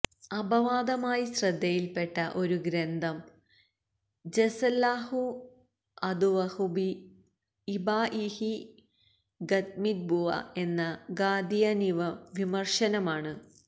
അപവാദമായി ശ്രദ്ധയില്പെട്ട ഒരു ഗ്രന്ഥം ജസല്ലാഹു അദുവ്വഹു ബി ഇബാഇഹി ഖത്മിന്നുബുവ്വഃ എന്ന ഖാദിയാനിവിമര്ശനമാണ്